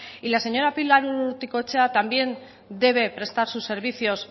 y la señora pilar urrutikoetxea también debe prestar sus servicios